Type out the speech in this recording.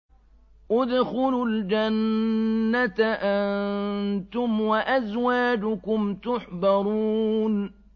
ادْخُلُوا الْجَنَّةَ أَنتُمْ وَأَزْوَاجُكُمْ تُحْبَرُونَ